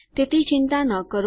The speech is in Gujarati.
તેથી ચિંતા ન કરો